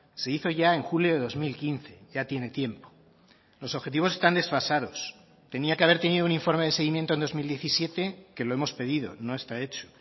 se hizo ya en julio de dos mil quince ya tiene tiempo los objetivos están desfasados tenía que haber tenido un informe de seguimiento en dos mil diecisiete que lo hemos pedido no está hecho